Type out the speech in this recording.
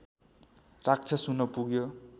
राक्षस हुन पुग्यो